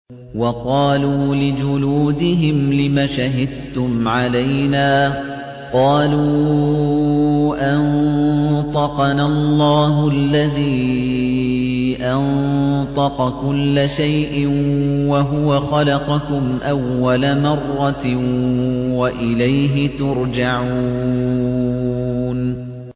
وَقَالُوا لِجُلُودِهِمْ لِمَ شَهِدتُّمْ عَلَيْنَا ۖ قَالُوا أَنطَقَنَا اللَّهُ الَّذِي أَنطَقَ كُلَّ شَيْءٍ وَهُوَ خَلَقَكُمْ أَوَّلَ مَرَّةٍ وَإِلَيْهِ تُرْجَعُونَ